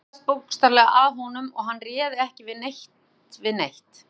Það hrúgaðist bókstaflega að honum og hann réði ekki neitt við neitt.